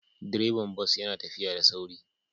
Direban bas yana tafiya da sauri